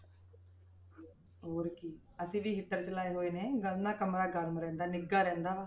ਹੋਰ ਕੀ ਅਸੀਂ ਵੀ heater ਚਲਾਏ ਹੋਏ ਨੇ, ਉਹਦੇ ਨਾਲ ਕਮਰਾ ਗਰਮ ਰਹਿੰਦਾ ਨਿੱਘਾ ਰਹਿੰਦਾ ਵਾ।